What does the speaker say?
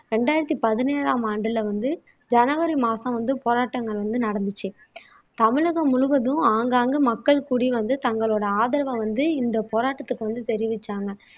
இரண்டாயிரத்தி பதினேழாம் ஆண்டுல வந்து ஜனவரி மாசம் வந்து போராட்டங்கள் வந்து நடந்துச்சு தமிழகம் முழுவதும் ஆங்காங்கே மக்கள் கூடி வந்து தங்களோட ஆதரவை வந்து இந்த போராட்டத்துக்கு வந்து தெரிவிச்சாங்க